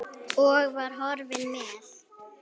Og var horfinn með.